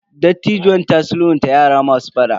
Dattijuwan ta sulhunta yara masu fada.